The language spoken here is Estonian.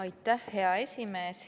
Aitäh, hea esimees!